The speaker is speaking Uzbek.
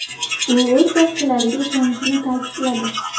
U o‘z soqchilariga ishonishini ta’kidladi.